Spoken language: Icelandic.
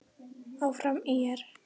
Áfram ÍR!